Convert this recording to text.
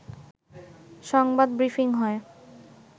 সংবাদ ব্রিফিং হয়